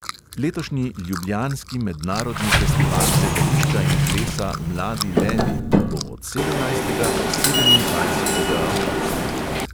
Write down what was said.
Letošnji ljubljanski mednarodni festival gledališča in plesa mladi levi bo od sedemnajstega do sedemindvajsetega avgusta.